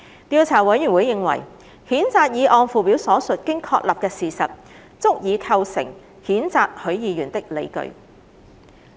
調查委員會認為，譴責議案附表所述經確立的事實，足以構成譴責許議員的理據。